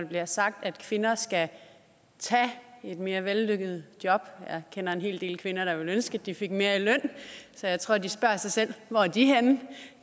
bliver sagt at kvinder skal tage mere vellønnede jobs jeg kender en hel del kvinder der ville ønske at de fik mere i løn så jeg tror at de spørger sig selv